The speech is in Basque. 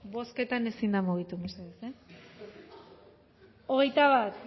bozketan ezin da mugitu mesedez hogeita bat